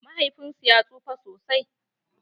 Mahaifin su ya tsufa sosai.